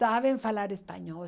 Sabem falar espanhol.